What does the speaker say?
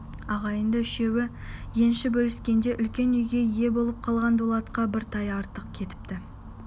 ағайынды үшеуі енші бөліскенде үлкен үйге ие болып қалған дулатқа бір тай артық кетіпті